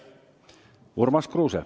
Urmas Kruuse.